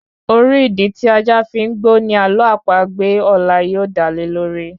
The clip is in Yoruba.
Orí Ìdí tí ajá fi ń gbó ní àló àpagbè ọlá yóò dá lé lórí